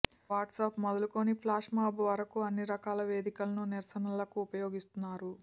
WhatsApp మొదలుకొని flash mob వరకూ అన్ని రకాల వేదికలను నిరసనలకు ఉపయోగిస్తున్నారు